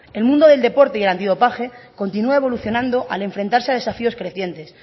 el mundo del deporte y el antidopaje continúa evolucionando al enfrentarse a desafíos crecientes